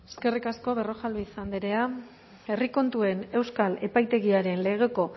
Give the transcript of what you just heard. eskerrik asko berrojalbiz andrea herri kontuen euskal epaitegiaren legeko